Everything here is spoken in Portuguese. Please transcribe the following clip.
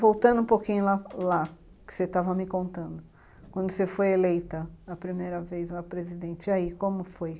Voltando um pouquinho lá lá, que você estava me contando, quando você foi eleita a primeira vez a presidente, e aí, como foi?